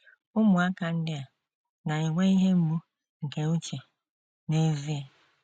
Ụmụaka ndị a na - enwe ihe mgbu nke uche n’ezie.